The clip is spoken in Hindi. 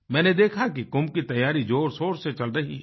मैंने देखा कि कुंभ की तैयारी ज़ोरशोर से चल रही है